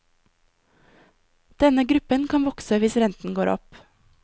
Denne gruppen kan vokse hvis renten går opp.